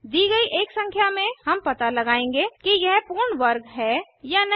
दी गई एक संख्या में हम पता लगायेंगे कि यह एक पूर्ण वर्ग है या नहीं